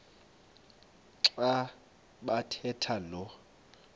xa bathetha lo